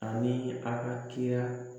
Ani an ka kira